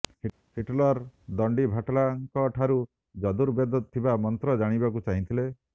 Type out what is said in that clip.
Hitler ଦଣ୍ଡିଭାଟଲାଙ୍କଠାରୁ ଯର୍ଦୁ ବେଦରେ ଥିବା ମନ୍ତ୍ର ଜାଣିବାକୁ ଚାହିଁଥିଲେ